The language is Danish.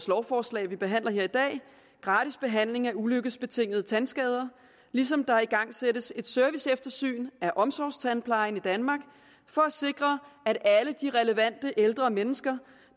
lovforslag vi behandler her i dag gratis behandling af ulykkesbetingede tandskader ligesom der igangsættes et serviceeftersyn af omsorgstandplejen i danmark for at sikre at alle de relevante ældre mennesker